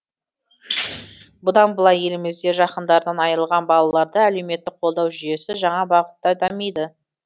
бұдан былай елімізде жақындарынан айырылған балаларды әлеуметтік қолдау жүйесі жаңа бағытта дамиды